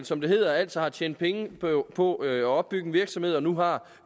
som det hedder altså har tjent penge på at opbygge en virksomhed og nu har